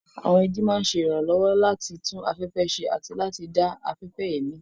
Àwọn igi máa ń ṣe ìrànlọ́wọ́ láti tún afẹ́fẹ́ ṣe àti láti dá afẹ́fẹ́ èémí.